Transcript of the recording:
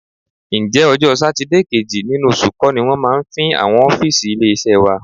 Ǹjẹ́ ọjọ́ Sátidé kejì nínú oṣù kọ́ ni wọ́n máa ń fín àwọn ọ́fíìsì ilé-iṣẹ́ wa?